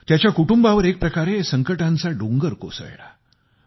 त्याच्या कुटुंबावर एक प्रकारे संकटांचा डोंगर कोसळला